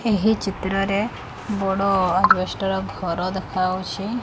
ଏହି ଚିତ୍ରରେ ବଡ଼ ଆଜବେଷ୍ଟ୍ ର ଘର ଦେଖା଼ହୋଉଛି।